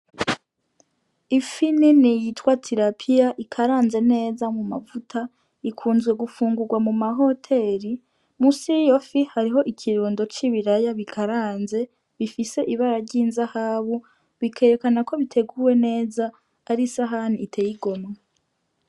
Ifi nini yitwa tirapiya ikaranze neza mumavuta ikunzwe gufungugwa mu mahoteri; munsi yiyofi hariho ikirundo c'ibiraya bikaranze bifise ibara ry'inzahabu bikerekanako biteguwe neza arisahani iteye igomwe.